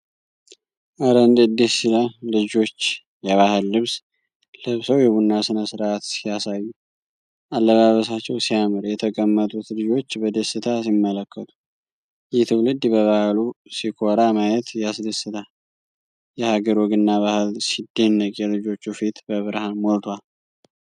ኧረ እንዴት ደስ ይላል! ልጆች የባህል ልብስ ለብሰው የቡና ሥነ-ሥርዓት ሲያሳዩ። አለባበሳቸው ሲያምር! የተቀመጡት ልጆች በደስታ ሲመለከቱ። ይህ ትውልድ በባህሉ ሲኮራ ማየት ያስደስታል። የሀገር ወግና ባህል ሲደነቅ! የልጆቹ ፊት በብርሃን ሞልቷል።